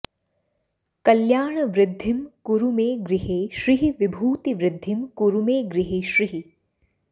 कल्याणवृद्धिं कुरु मे गृहे श्रीः विभूतिवृद्धिं कुरु मे गृहे श्रीः